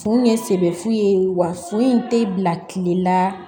Fu ye bɛ fu ye wa foyi tɛ bila tile la